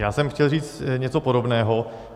Já jsem chtěl říct něco podobného.